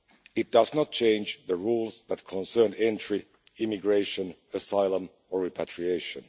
It does not change the rules that concern entry, immigration, asylum or repatriation.